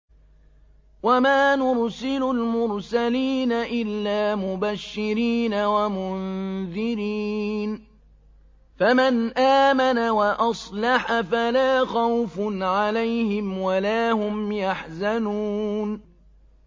وَمَا نُرْسِلُ الْمُرْسَلِينَ إِلَّا مُبَشِّرِينَ وَمُنذِرِينَ ۖ فَمَنْ آمَنَ وَأَصْلَحَ فَلَا خَوْفٌ عَلَيْهِمْ وَلَا هُمْ يَحْزَنُونَ